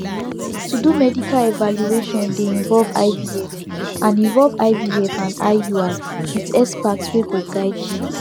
to do medical evaluation dey involve ivf and involve ivf and iui with expert wey go guide you